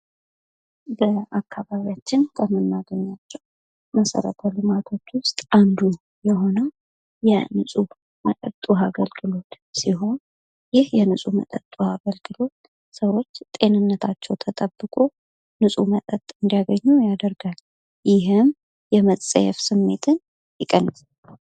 ከአካባቢያችን ከመናገኛቸው መሰረተ ልማቶች አንዱ የሆነው የንጹህ ዉሀ መጠጥ አገልግሎት ሲሆን ይህ የንጹ ውሃ መጠጥ አገልግሎት ሰዎች ተጠብቆ መጠጥ እንዲያገኙ ያደርጋል ይህም መጠየፍ ስሜትን ይቀንሳል።